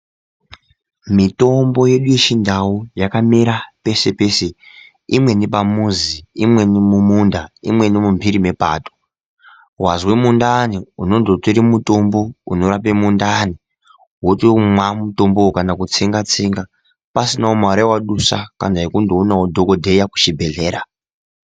Mitombo yedu yechindau yakamera peshe peshe imweni pamuzi imweni mumunda imweni mumbiri mwepato. Wazwa mundani unondotore mutombo unorape mundani wotomwa mitombowo kana kutsenga tsenga pasina mare yewadusa kana yekundoona dhokodheya kucbibhehlera.